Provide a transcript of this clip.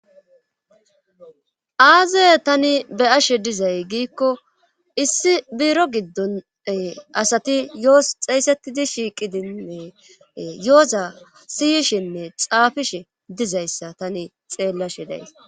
Aazaye tani be ashe dizay giikko issi buro giddon asati yos xeeysettidi shiiqidinne yooza siyishinne xaafishe dizayssa tani xeellashe days.